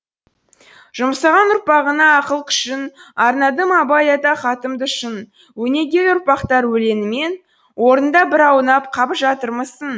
жұмсаған ұрпағына ақыл күшін арнадым абай ата хатымды шын өнегелі ұрпақтар өлеңімен орныңда бір аунап қап жатырмысың